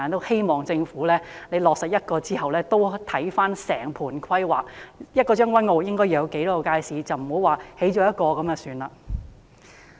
希望政府在落實興建一個街市後，再檢視整盤規劃，決定將軍澳應該要有多少街市，而不是只興建一個街市便算。